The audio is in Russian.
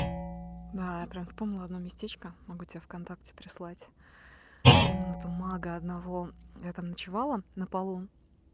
да я прям вспомнила одно местечко могу тебе в контакте прислать комнату мага одного я там ночевала на полу